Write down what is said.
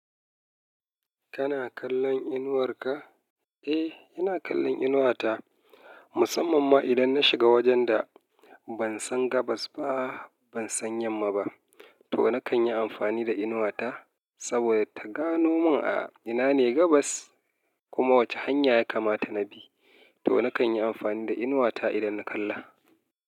Kana kallon inuwar ka? Eh, ina kallon inuwata musamman ma idan na shiga wajenda ban san gabas ba, ban san yamma ba to nakan yi amfani da inuwata saboda ta gano mun a ina ne gabas kuma wace hanya ya kamata na bi. To nakan yi amfani da inuwata idan na kalla.